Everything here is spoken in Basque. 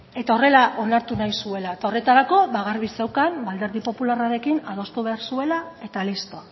eta horrela onartu nahi zuela eta horretarako garbi zeukan alderdi popularrarekin adostu behar zuela eta listo